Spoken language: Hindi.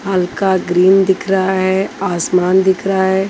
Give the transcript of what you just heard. हल्का ग्रीन दिख रहा है आसमान दिख रहा है।